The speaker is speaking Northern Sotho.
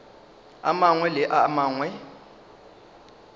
a mangwe le a mangwe